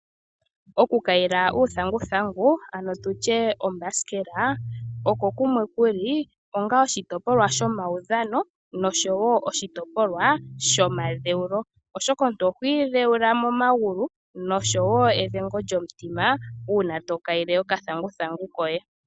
Okukayila uuthanguthangu, ano tu tye ombasikela, oko kumwe ku li onga oshitopolwa shomaudhano nosho wo oshitopolwa shomadheulo, oshoka omuntu oho idheula momagulu nosho wo edhengo lyomutima uuna to kayile okathanguthangu koye.